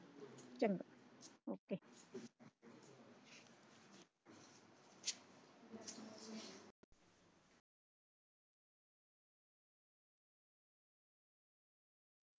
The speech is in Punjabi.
ਚੰਗਾ।